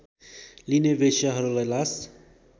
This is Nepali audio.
लिने वेश्याहरूलाई लास